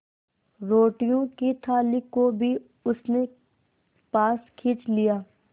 रोटियों की थाली को भी उसने पास खींच लिया